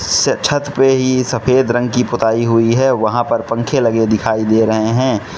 इस छत पे ई सफेद रंग की पुताई हुई है वहां पर पंखे लगे दिखाई दे रहे हैं।